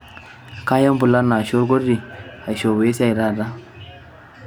kaya empulana ashu olkoti aishopoo esiai taata